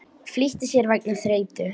Flýtti sér vegna þreytu